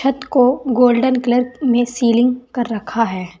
को golden colour में ceiling कर रखा है।